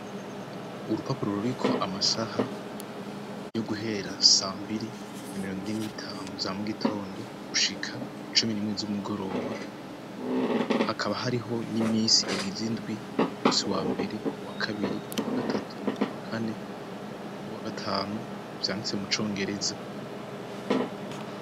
Urupapuro ruriko amasaha yo guhera sambiri na mirongo ine n'itanu za mu gitondo gushika cumi n'imwe z'umugoroba. Hakaba hariho n'imisi igize izindwi, umusi wa mbere, wa kabiri, wa gatatu, wa kane n'uwagatanu vyanditse mu congereza.